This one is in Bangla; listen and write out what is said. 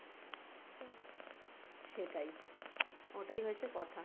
সেটাই হবেই না?